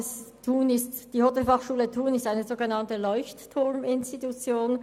Die Hotelfachschule Thun ist eine sogenannte «Leuchtturm-Institution».